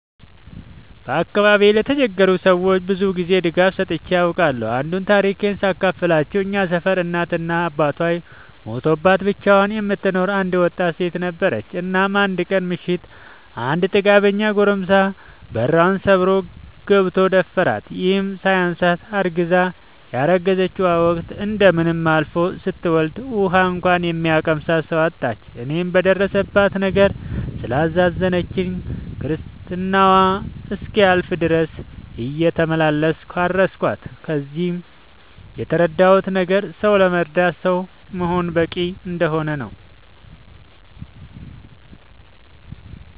በአካባቢዬ ለተቸገሩ ሰዎች ብዙ ጊዜ ድጋፍ ሰጥቼ አውቃለሁ። አንዱን ታሪኬን ሳካፍላችሁ እኛ ሰፈር እናት እና አባቷ ሞተውባት ብቻዋን የምትኖር አንድ ወጣት ሴት ነበረች። እናም አንድ ቀን ምሽት አንድ ጥጋበኛ ጎረምሳ በሯን ሰብሮ ገብቶ ደፈራት። ይህም ሳያንሳት አርግዛ የረግዝናዋ ወቅት እንደምንም አልፎ ስትወልድ ውሀ እንኳን የሚያቀምሳት ሰው አጣች። እኔም በደረሰባት ነገር ስላሳዘነችኝ ክርስትናዋ እስኪያልፍ ድረስ እየተመላለስኩ አረስኳት። ከዚህ የተረዳሁት ነገር ሰው ለመርዳት ሰው መሆን በቂ እንደሆነ ነው።